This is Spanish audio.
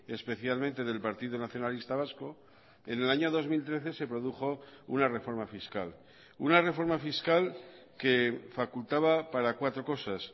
especialmente del partido nacionalista vasco en el año dos mil trece se produjo una reforma fiscal una reforma fiscal que facultaba para cuatro cosas